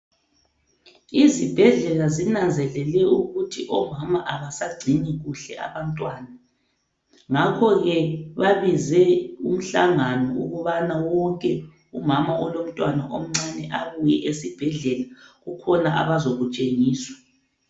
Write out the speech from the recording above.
Izibhedlela zinanzelele ukuthi omama abasagcini kuhle abantwana ngakho ke babize umhlangano ukubana wonke umama olomntwana omncane abuye esibhedlela kukhona abazakutshengiswa.